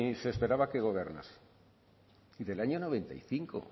se esperaba que gobernarse del año noventa y cinco